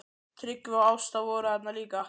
Tryggvi og Ásta voru þarna líka.